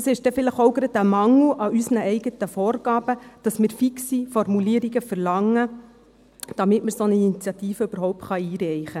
Vielleicht ist es auch ein Mangel in unseren eigenen Vorgaben, dass wir fixe Formulierungen verlangen, damit wir eine solche Initiative überhaupt einreichen.